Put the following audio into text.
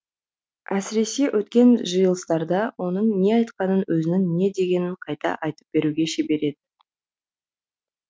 әсіресе өткен жиылыстарда оның не айтқанын өзінің не дегенін қайта айтып беруге шебер еді